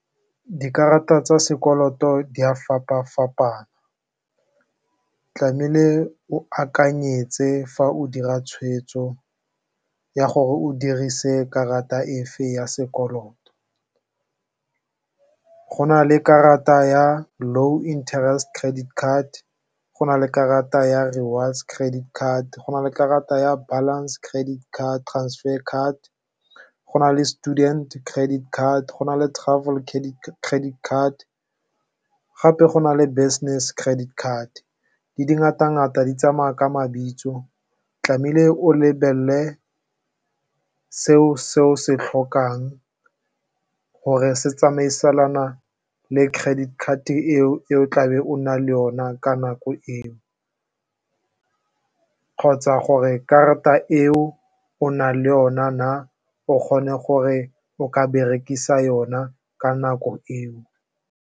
Dikarata tsa sekoloto di a fapa-fapana, tlamehile o akanyetse fa o dira tshwetso ya gore o dirise karata e fe ya sekoloto. Go na le karata ya low interest credit card, go na le karata ya rewards credit card, go na le karata ya balance credit card transfer card, go na le student credit card, go na le travel credit card gape go na le business credit card. Di di ngata-ngata di tsamaya ka mabitso tlamehile o lebelele seo se o se tlhokang gore se tsamaisana le credit card eo e o tlabe o na le ona ka nako eo kgotsa gore karata eo o na le ona na, o kgone gore o ka berekisa yona ka nako eo.